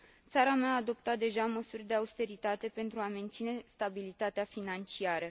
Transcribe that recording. Țara mea a adoptat deja măsuri de austeritate pentru a menține stabilitatea financiară.